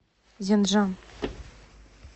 зенджан